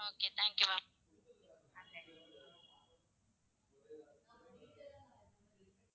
Okay thank you ma'am.